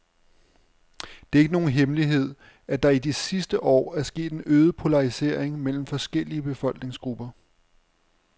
Det er ikke nogen hemmelighed, at der i de sidste år er sket en øget polarisering mellem forskellige befolkningsgrupper.